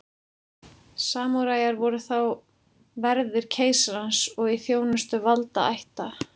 Samúræjar voru þá verðir keisarans og í þjónustu valdaætta.